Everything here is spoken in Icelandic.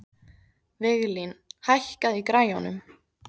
Viglín, hækkaðu í græjunum.